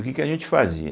O que que a gente fazia?